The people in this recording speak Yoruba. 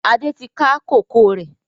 Adé tí ká kòkó rẹ